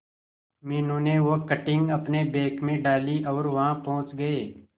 मीनू ने वो कटिंग अपने बैग में डाली और वहां पहुंच गए